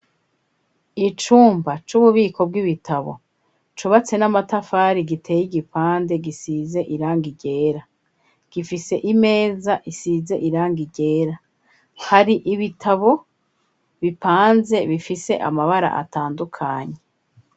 Icumba c'ububiko bw'ibitabo cubatse n'amatafari giteye igipande gisize irangi ryera gifise imeza isize irangi ryera hari ibitabo bipanze bifise amabara atandukanye.